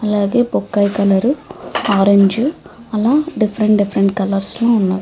అలాగే బొప్పాయి colour orange అలా డిఫరెంట్ డిఫరెంట్ కలర్స్ లో ఉన్నవి.